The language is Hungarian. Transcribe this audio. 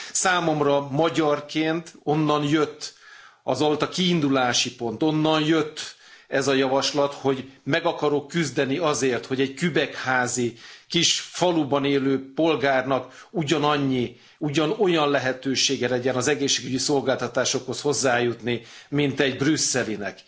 Számomra, magyarként, az volt a kiindulási pont, onnan jött ez a javaslat, hogy meg akarok küzdeni azért, hogy egy kübekházi kis faluban élő polgárnak ugyanannyi, ugyanolyan lehetősége legyen az egészségügyi szolgáltatásokhoz hozzájutni, mint egy brüsszelinek.